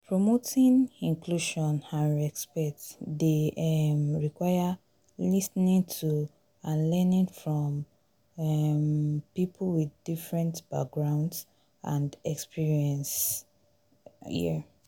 promoting inclusion and respect dey um require lis ten ing to and learning from um people with different backgrounds and experiences. um